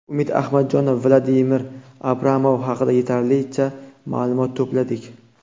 Umid Ahmadjonov: Vadim Abramov haqida yetarlicha ma’lumot to‘pladik.